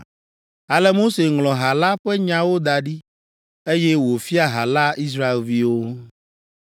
Ale Mose ŋlɔ ha la ƒe nyawo da ɖi, eye wòfia ha la Israelviwo.